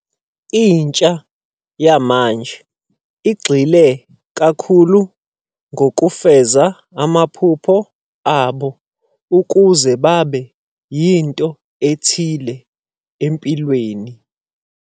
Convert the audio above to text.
Intsha yamanje igxile kakhulu ngokufeza amaphupho abo ukuze babe yinto ethile empilweni.